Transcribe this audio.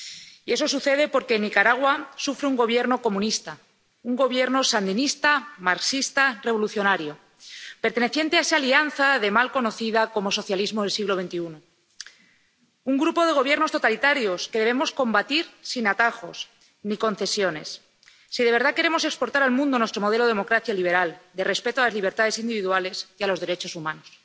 Y eso sucede porque Nicaragua sufre un Gobierno comunista, un Gobierno sandinista, marxista, revolucionario, perteneciente a esa alianza mal conocida como socialismo del siglo XXI, un grupo de Gobiernos totalitarios que debemos combatir sin atajos ni concesiones, si de verdad queremos exportar al mundo nuestro modelo de democracia liberal, de respeto a las libertades individuales y a los derechos humanos.